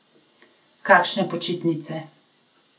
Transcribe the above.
Kakšne počitnice!